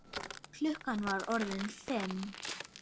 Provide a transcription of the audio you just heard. Klukkan var orðin fimm.